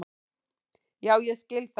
Já ég skil það.